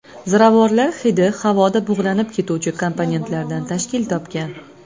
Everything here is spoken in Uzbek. Ziravorlar hidi havoda bug‘lanib ketuvchi komponentlardan tashkil topgan.